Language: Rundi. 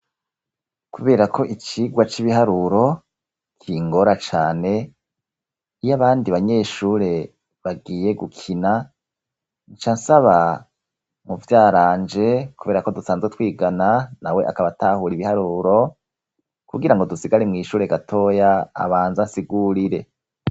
Kubera ko icigwa c'ibiharuro kingora cane iyo abandi banyeshure bagiye gukina nca nsaba muvyaranje, kubera ko dusanzwe twigana na we akabatahura ibiharuro kugira ngo dusigare mw'ishure gatoya abanza sigurire.